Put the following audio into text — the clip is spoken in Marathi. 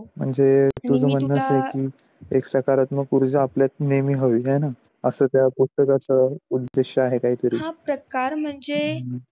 म्हणजे तुझं म्हणणं असं की एक सकारात्मक ऊर्जा आपल्यात नेहमी हवी आहे ना, असा त्या पुस्तकाचे उद्देश आहे काहीतरी, हा प्रकार म्हणजे